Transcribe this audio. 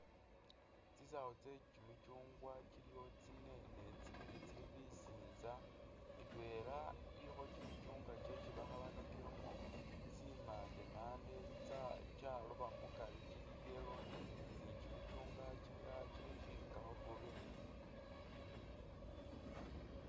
Tsisaawo tse kyimikyungwa tsiliwo tsine ne tsibili tsili bisinza indweela ilikho kyimikyungwa kyesi bakhalakilemo tsi’mande mande kyaroba mukari kyili yellow ni kyimikyungwa kyimilala kyishilikakho green.